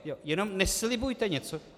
Jen neslibujte něco.